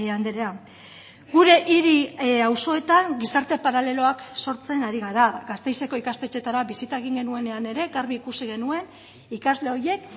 andrea gure hiri auzoetan gizarte paraleloak sortzen ari gara gasteizeko ikastetxeetara bisita egin genuenean ere garbi ikusi genuen ikasle horiek